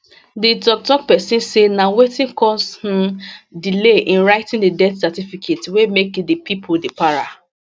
di toktok pesin say na wetin cause um delay in writing di death certificate wey make di pipo dey para